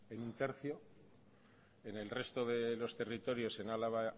en uno barra tres en el resto de territorios en álava